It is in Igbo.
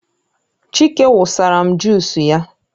Chike wụsara m jusu ya